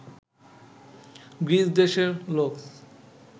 গ্রীসদেশের লোক